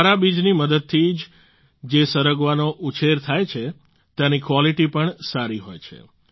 સારા બીજની મદદથી જે સરગવાનો ઉછેર થાય છે તેની ક્વોલિટી પણ સારી હોય છે